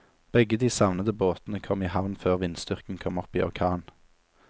Begge de savnede båtene kom i havn før vindstyrken kom opp i orkan.